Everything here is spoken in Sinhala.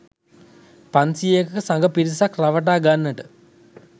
පන්සියයක සඟ පිරිසක් රවටා ගන්නට